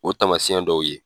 O tamasiyɛn dɔw ye.